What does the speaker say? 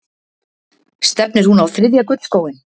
Stefnir hún á þriðja gullskóinn?